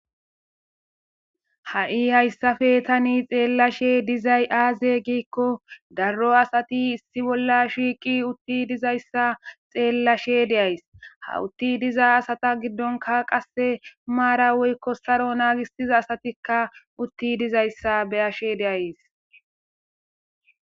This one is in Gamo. ha'i hayssafe tani xeellashe dizay aaze giikko darro asati issi bolla shiiqi utti dizayssa xeellashe deays hawutti diza asata giddonka qasse maara weykko saro naagissiza asatikka utti dizayssa beyashe deays